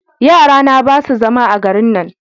yara na ba su zama a garin nan